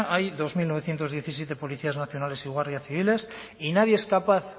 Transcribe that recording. hay dos mil novecientos diecisiete policías nacionales y guardias civiles y nadie es capaz